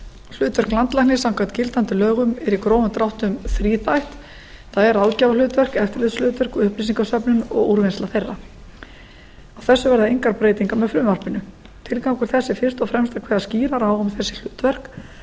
hlutverk landlæknis samkvæmt gildandi lögum er í grófum dráttum þríþætt það er ráðgjafarhlutverk eftirlitshlutverk og upplýsingasöfnum og úrvinnsla þeirra á þessu verða engar breytingar með frumvarpinu tilgangur þess er fyrst og fremst að kveða skýrar á um þessi hlutverk